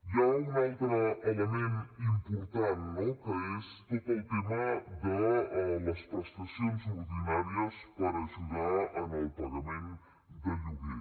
hi ha un altre element important no que és tot el tema de les prestacions ordinàries per ajudar al pagament de lloguer